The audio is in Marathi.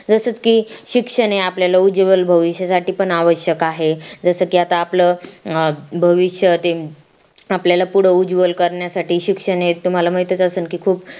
जसं की शिक्षण आपल्या उज्वल भविष्यासाठी पण अवयश्यक आहे जसं की आपलं भविष्य ते आपल्याला पुढ उजवल करण्यासाठी शिक्षण हे तुम्हाला माहित असेल की खूप